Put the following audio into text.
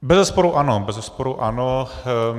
Bezesporu ano, bezesporu ano.